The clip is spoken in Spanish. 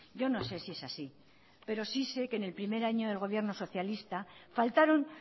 yo no sé si es así pero sí sé que en el primer año del gobierno socialista faltaron